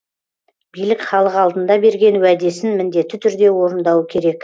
билік халық алдында берген уәдесін міндетті түрде орындауы керек